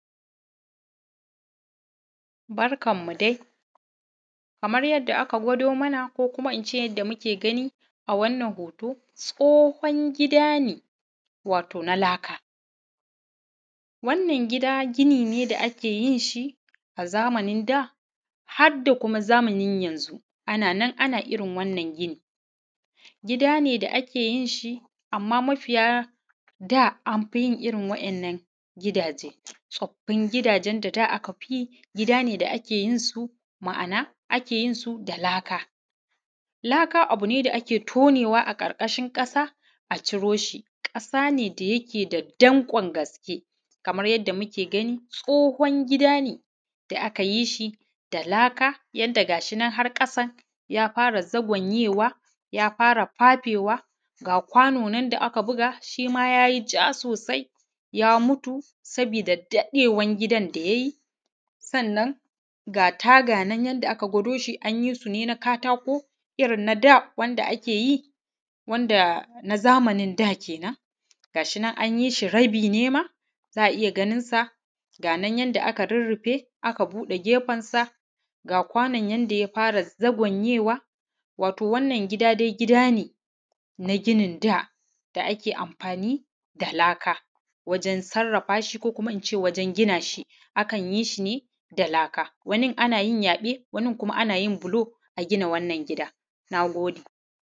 Barkan mu dai kamar yadda aka gwado mana ko kuma ince muke gani a wannan hoto tsohon gida ne wato na laka. Wannan gida gini ne da a keyinshi a zamanin da hadda kuma zamanin yanzu ananan ana irrin wannan ginin. Gida ne da’ake yinshi amma mafiya da anfiyin irrin wa’yan’nan gidaje, tsoffin gidajen da aka fiyi gida ne da akeyin su, ma’ana anfiyin su da laka. Laka abune da aka tonewa a ƙarƙashin ƙasa a ciroshi ƙasa ne dakeda danƙon gaske. Kamar yanda muke gani tsohon gida ne da aka yishi da laka yanda gashinan har ƙasan ya fara zagwanyewa ya fara fafewa ga kwano nan da aka buga shima yayi ja sosai yam utu saboda daɗewan gidan da yayi. Sannan da taga nan yanda aka gwado shi anyi sune na katako nada wanda akeyi na zamanin da kenan gashinan anyishi rabi ne ma za’a iyya ganinsa ganan yanda aka rurrufe aka buɗe gefensa ga kwanon yanda yafara zagwayewa na ginin da. Wato wannan gida dai gida ne na ginin da wanda ake amfani da laka wajen sarrafashi ko kuma ince wajen gina shi akan yishi ne da laka wanin anayin yaɓe wanin kuma anayin bulo ne agina wannan gida. Nagode